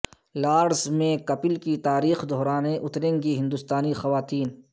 Lord's میں کپل کی تاریخ دہرانے اتریں گی ہندستانی خواتین